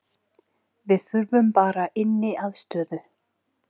Við þurfum bara inniaðstöðu